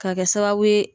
Ka kɛ sababu ye